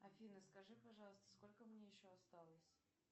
афина скажи пожалуйста сколько мне еще осталось